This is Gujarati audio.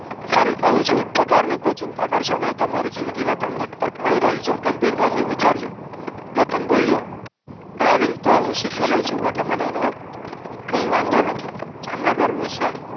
ફરી કવ છું પગાર ની કોઈ ચિંતા કરશો નઇ તમારી જિંદગીમાં તમને તક ગંભીરતાથી વિચારજો કેતન બોલ્યો ડ્રાઇવિંગ તો હું શીખી લવ છું એટલે મને એનો કઈ વાંધો નથી જામનગર વિશે